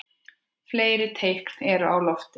Fleiri teikn eru á lofti.